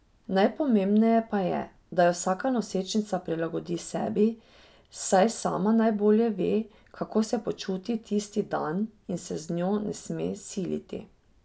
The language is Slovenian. Najpomembneje pa je, da jo vsaka nosečnica prilagodi sebi, saj sama najbolje ve, kako se počuti tisti dan, in se z njo ne sme siliti.